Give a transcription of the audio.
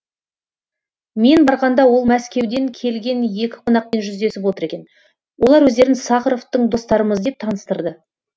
мен барғанда ол мәскеуден келген екі қонақпен жүздесіп отыр екен олар өздерін сахаровтың достарымыз деп таныстырды